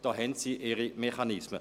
Da haben Sie Ihre Mechanismen.